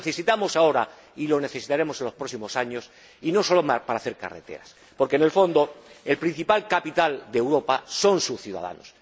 Lo necesitamos ahora y lo necesitaremos en los próximos años, y no solo para hacer carreteras, porque, en el fondo, el principal capital de Europa son sus ciudadanos